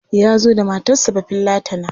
Ya zo da matarsa Bafillatana.